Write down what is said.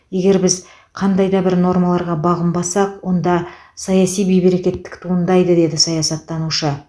егер біз қандай да бір нормаларға бағынбасақ онда саяси бейберекеттік туындайды деді саясаттанушы